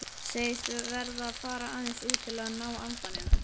Segist verða að fara aðeins út til að ná andanum.